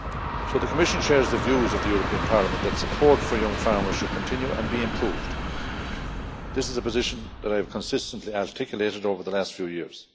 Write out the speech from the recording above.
So the Commission shares the views of the European Parliament that support for young farmers should continue and be improved. This is a position that I have consistently articulated over the last few years.